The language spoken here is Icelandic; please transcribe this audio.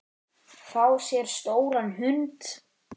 Fá sér stóran hund?